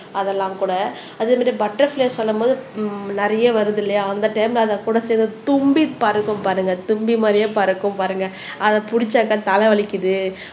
அதெல்லாம் கூட அதே மாதிரி பட்டர்பிளைல சொல்லும் போது நிறைய வருது இல்லையா அந்த டைம்ல அது கூட சேர்ந்து தும்பி பறக்கும் பாருங்க தும்பி மாதிரியே பறக்கும் பாருங்க அதை பிடிச்சாக்கா தலை வலிக்குது